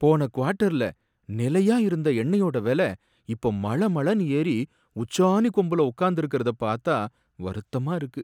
போன குவாட்டர்ல நிலையா இருந்த எண்ணெயோட வில இப்ப மள மளனு ஏறி உச்சாணி கொம்புல உக்காந்திருக்கறத பாத்தா வருத்தமா இருக்கு.